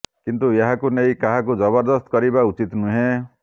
କିନ୍ତୁ ଏହାକୁ ନେଇ କାହାକୁ ଜବରଦସ୍ତ କରିବା ଉଚିତ୍ ନୁହେଁ